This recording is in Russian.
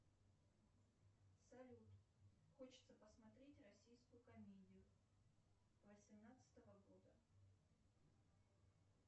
салют хочется посмотреть российскую комедию восемнадцатого года